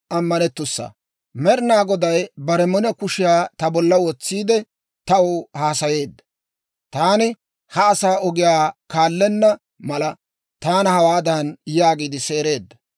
Med'inaa Goday bare mino kushiyaa ta bolla wotsiide, taw haasayeedda; taani ha asaa ogiyaa kaallenna mala, taana hawaadan yaagiide seereedda;